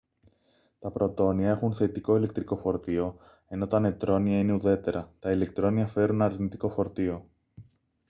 τα πρωτόνια έχουν θετικό ηλεκτρικό φορτίο ενώ τα νετρόνια είναι ουδέτερα τα ηλεκτρόνια φέρουν αρνητικό φορτίο